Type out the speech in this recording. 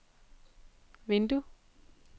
vindue